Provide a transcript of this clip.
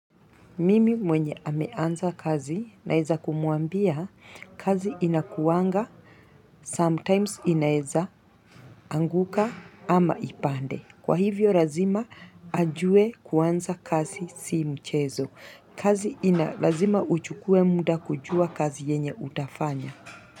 Mimi mwenye ameanza kazi naweza kumwambia kazi inakuanga, sometimes inaweza anguka ama ipande. Kwa hivyo lazima ajue kuanza kazi si mchezo. Kazi ina lazima uchukue muda kujua kazi yenye utafanya.